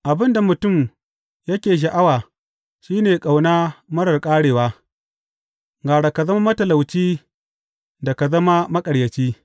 Abin da mutum yake sha’awa shi ne ƙauna marar ƙarewa; gara ka zama matalauci da ka zama maƙaryaci.